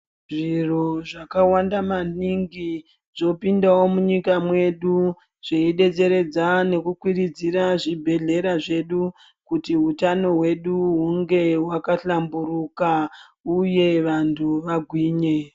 Zviro zvakawandamaningi zvopindawo munyika mwedu zveidetseredza nekukwidziridza zvibhedhlera zvedu kuti hutano hwedu hunge hwakahlamburuka uye kuti vantu vagwinye.